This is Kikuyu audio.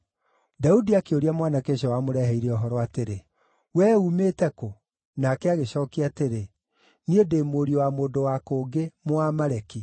Daudi akĩũria mwanake ũcio wamũreheire ũhoro atĩrĩ, “Wee uumĩte kũ?” Nake agĩcookia atĩrĩ, “Niĩ ndĩ mũriũ wa mũndũ wa kũngĩ, Mũamaleki.”